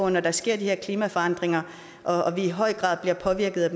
når der sker de her klimaforandringer og vi i høj grad bliver påvirket